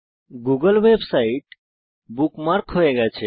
Google website bookmark হয়ে গেছে